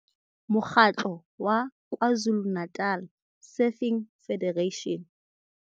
Mo kgatlo wa KwaZulu-Natal Surfing Federation.